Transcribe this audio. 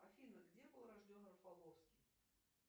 афина где был рожден рафаловский